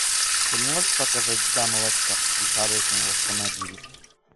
ты можешь показать дама в очках и с оружием в автомобиле